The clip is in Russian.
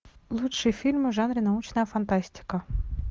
лучшие фильмы в жанре научная фантастика